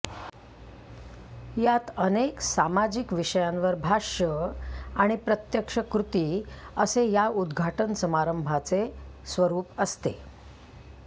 यात अनेक सामाजिक विषयांवर भाष्य आणि प्रत्यक्ष कृती असे या उद्घाटन समारंभाचे स्वरूप असते